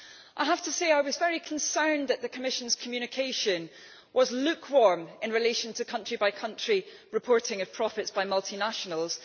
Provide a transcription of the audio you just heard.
I have to say I was very concerned that the Commission's communication was lukewarm in relation to country by country reporting of profits by multinationals.